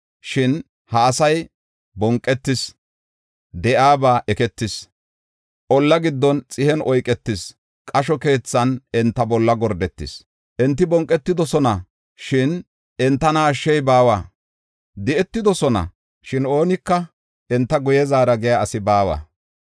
Shin ha asay bonqetis; de7iyaba eketis. Olla giddon xihen oyketis, qasho keethan enta bolla gordetis. Enti bonqetidosona, shin enta ashshey baawa; di7etidosona, shin oonika “Enta guye zaara” giya asi baawa.